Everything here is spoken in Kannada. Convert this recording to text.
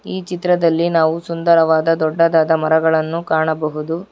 ಈ ಚಿತ್ರದಲ್ಲಿ ನಾವು ಸುಂದರವಾದ ದೊಡ್ಡದಾದ ಮರಗಳನ್ನು ಕಾಣಬಹುದು.